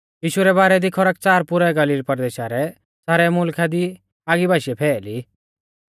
यीशु रै बारै दी खरकच़ार पुरै गलील परदेशा रै सारै मुलखा दी आगी बाशीऐ फैअली